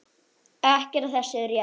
Ekkert af þessu er rétt.